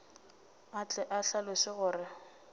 a tle a hlaloše gore